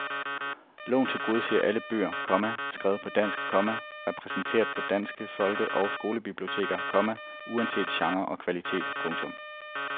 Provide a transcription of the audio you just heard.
Loven tilgodeser alle bøger, komma skrevet på dansk, komma repræsenteret på danske folke og skolebiblioteker, komma uanset genre og kvalitet. punktum